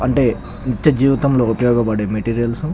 అంటే నిత్య జీవితం లో ఉపయోగ పడే మెటీరియల్స్ .